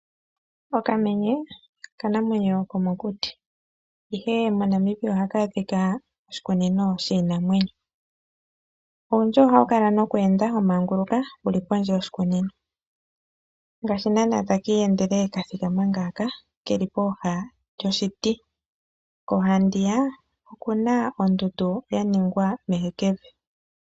Okamenye okanamwenyo komokuti ihe moNamibia ohaka adhika koshikunino shinamwenyo. Owundji ohawu kala noku enda wa manguluka wuli pondje yoshi kunino ngaashi nana taki iyendele kathikama ngaka keli poha lyoshiti koha ndiya okuna ondundu ya ningwa kevi.